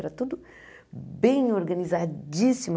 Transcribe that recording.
Era tudo bem organizadíssimo.